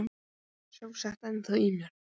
Kúlan er sjálfsagt ennþá í mér.